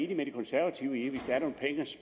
med de konservative i